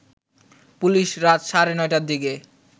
police রাত সাড়ে ৯ টার দিকে